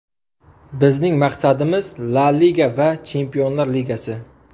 Bizning maqsadimiz – La Liga va Chempionlar Ligasi.